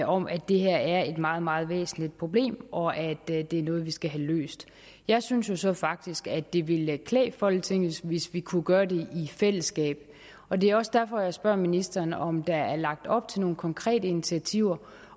om at det her er et meget meget væsentligt problem og at det er noget vi skal have løst jeg synes jo så faktisk at det ville klæde folketinget hvis vi kunne gøre det i fællesskab og det er også derfor at jeg spørger ministeren om der er lagt op til nogle konkrete initiativer